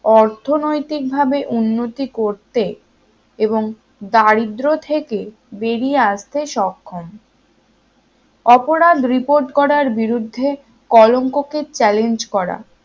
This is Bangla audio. অর্থনৈতিকভাবে উন্নতি করতে এবং দারিদ্র থেকে বেরিয়ে আসতে সক্ষম অপরাধ report করার বিরুদ্ধে কলঙ্ককে challenge করা